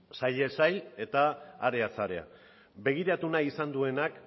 sailez sail eta areaz area begiratu nahi izan duenak